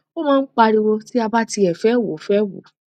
o máa ń pariwo ti a bá tiẹ fe wò fe wò